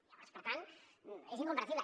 llavors per tant és incomprensible